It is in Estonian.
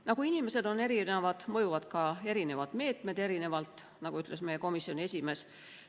Nagu inimesed on erinevad, nii mõjuvad ka erinevad meetmed erinevalt, nagu ütles meie komisjoni esimees.